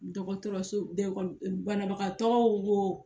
Dɔgɔtɔrɔso bɛɛ kɔni banabagatɔw wo